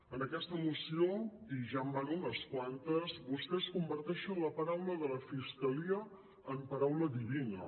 en aquesta moció i ja en van unes quantes vostès converteixen la paraula de la fiscalia en paraula divina